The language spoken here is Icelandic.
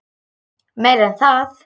Meira en það.